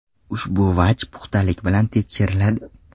Ushbu vaj puxtalik bilan tekshiriladi.